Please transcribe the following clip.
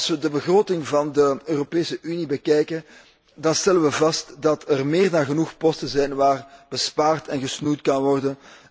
Als we de begroting van de Europese Unie bekijken, dan stellen we vast dat er meer dan genoeg posten zijn waar bespaard en gesnoeid kan worden.